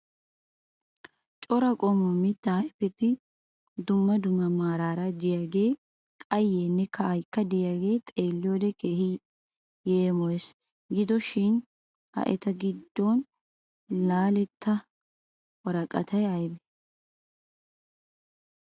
Cora qommo mittaa ayipeti dumma dumma meraara diyagee qayyeenne ka'ayikka de'iyaagee xeelliyoode keehi yeemoyes. Gido shin ha eta giddon laaletta woraqatay ayibee?